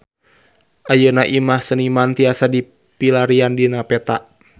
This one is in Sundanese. Ayeuna Imah Seniman tiasa dipilarian dina peta